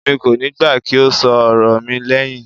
Èmi kò níí gbà kí o ṣọ ọ̀rọ̀ mi lẹhin.